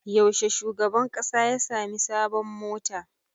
Yaushe shugaban ƙasa ya sami sabon mota?